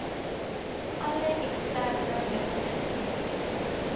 alle eksterne meganismes